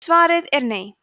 svarið er nei